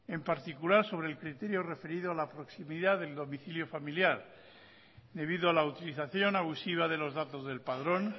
en particular sobre el criterio referido a la proximidad del domicilio familiar debido a la utilización abusiva de los datos del padrón